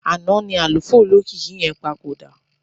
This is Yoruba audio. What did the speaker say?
Àná ni àlùfáà olókìkí yẹn papòdà.